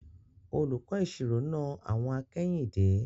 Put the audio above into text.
Olùkọ́ ìṣirò na àwọ̀n akẹ́yìndé.